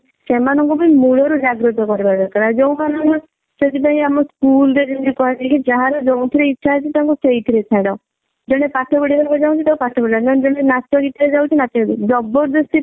ସେମାନଙ୍କୁ ବି ମୂଳ ରୁ ଜାଗୃତ କରିବା ଦରକାର ଆଉ ଯଉ ମାନଙ୍କ ସେଥିପାଇଁ ଆମ school ରେ ଯେମିତି କୁହା ଯାଏ କି ଯାହାର ଯଉଥିରେ ଇଛା ଅଛି ତାଙ୍କୁ ସେଇଥିରେ ଛାଡ ଜଣେ ପାଠ ପଢିବାକୁ ଚାହୁଁଛି ନହେଲେ ଜଣେ ନାଚ ଗୀତ ରେ ଯାଉଛି ନାଚ ଗୀତ ରେ ଜବରଦସ୍ତି